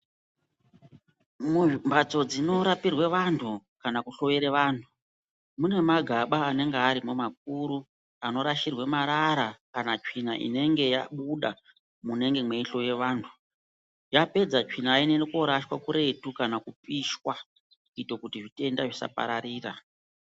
Mumbatso dzinorapirwa vantu kana kuhloiwa vantu munenge mune magamba anonga arimwo makuru. Anorashirwa marara kana tsvina inenge yabuda munenge mweihloiwa vantu. Yapedza tsvinayo inondorashwa kuretu kana kupishwa kuita kuti zvitenda zvisapararira.